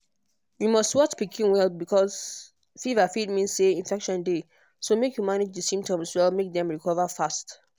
you must watch pikin well because fever fit mean say infection dey so make you manage di symptoms well make dem recover fast